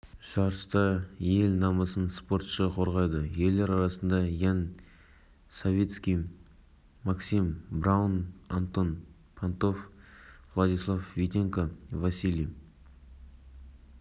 нұрсұлтан назарбаев қазақстан республикасының президенті жолдасбек егемен қазақстан словенияның поклюка қаласында желтоқсан аралығында биатлоннан әлем кубогының